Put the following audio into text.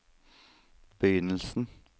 begynnelsen